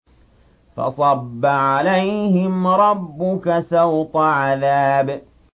فَصَبَّ عَلَيْهِمْ رَبُّكَ سَوْطَ عَذَابٍ